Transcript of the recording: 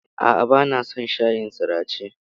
A'a, bana son shayin sirace.